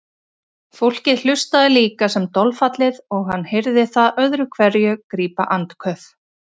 Fólkið hlustaði líka sem dolfallið og hann heyrði það öðru hverju grípa andköf.